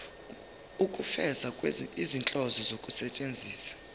ukufeza izinhloso zokusebenzisa